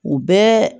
U bɛɛ